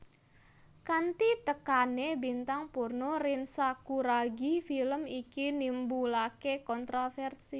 Kanthi tekane bintang porno Rin Sakuragi film iki nimbulake kontroversi